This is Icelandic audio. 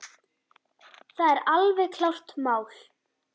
Það er alveg klárt mál.